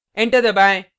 enter दबाएँ